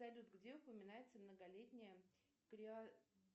салют где упоминается многолетняя